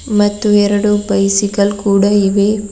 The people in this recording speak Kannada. ಮತ್ತು ಎರಡು ಬೈಸಿಕಲ್ ಕೂಡ ಇವೆ.